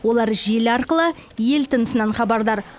олар желі арқылы ел тынысынан хабардар